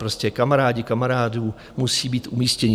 Prostě kamarádi kamarádů musí být umístěni.